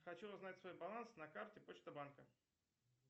хочу узнать свой баланс на карте почта банка